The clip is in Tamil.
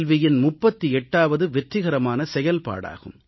வியின் 38ஆவது வெற்றிகரமான செயல்பாடாகும்